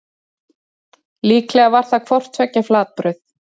Líklega var það hvort tveggja flatbrauð.